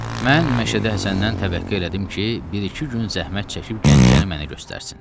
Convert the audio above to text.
Mən Məşədə Həsəndən təvəkkə elədim ki, bir-iki gün zəhmət çəkib Gəncəni mənə göstərsin.